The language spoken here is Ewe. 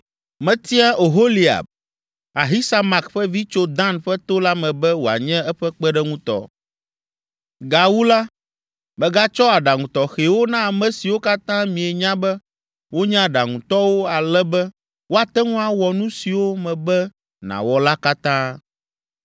Metia Oholiab, Ahisamak ƒe vi tso Dan ƒe to la me be wòanye eƒe kpeɖeŋutɔ. “Gawu la, megatsɔ aɖaŋu tɔxɛwo na ame siwo katã mienya be wonye aɖaŋutɔwo ale be woate ŋu awɔ nu siwo mebe nàwɔ la katã: